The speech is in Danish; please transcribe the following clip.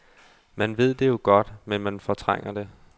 Man ved det jo godt, men man fortrænger det.